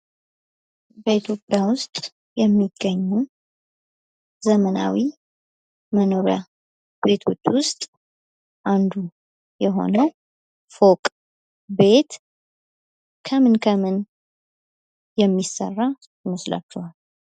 በኢትዮጵያ ውስጥ የሚገኙ ዘመናዊ መኖርያ ቤቶች ውስጥ አንዱ የሆነ ፎቅ ቤት ከምን የሚሠራ ይመስላችኋል።